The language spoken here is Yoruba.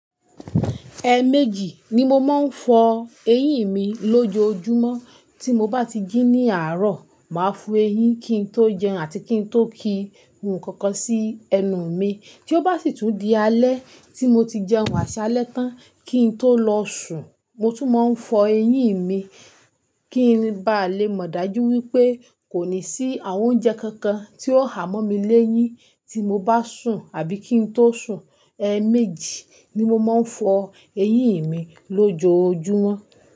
Ẹ méjì ni mo máa ń fọ eyín mi lójoojúmọ́. Tí mo bá ti jí ní àárọ̀, màá fọ eyín kí n tó jẹun àti kí n tó ki hun kankan sí ẹnu mi. Tí ó bá sì tún di alẹ́, tí mo ti jẹun àṣálẹ tán kí n tó lọ sùn, mo tún máa ń fọ eyín mi kí n ba lè mọ̀ dájú wípé kò ní sí àwọn oúnjẹ kankan tí ó há mọ́ mi léyín tí mo bá sùn àbí kí n tó sùn. Ẹ méjì ni mo máa ń fọ eyín mi lójoojúmọ́.